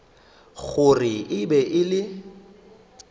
gore e be e le